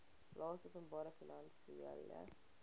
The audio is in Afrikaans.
laste openbare finansiële